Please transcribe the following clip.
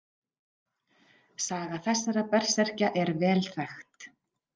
Saga þessara berserkja er vel þekkt.